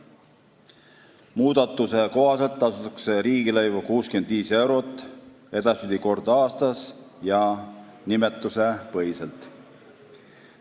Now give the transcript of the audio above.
Muudatuse kohaselt tasutakse edaspidi 65 eurot riigilõivu kord aastas ja nimetusepõhiselt.